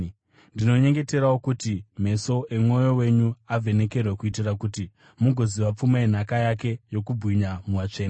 Ndinonyengeterawo kuti meso emwoyo wenyu avhenekerwe kuitira kuti mugoziva pfuma yenhaka yake yokubwinya muvatsvene,